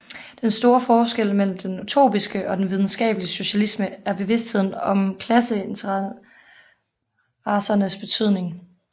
Den store forskel mellem den utopiske og den videnskabelige socialisme er bevidstheden om klasseinteressernes betydning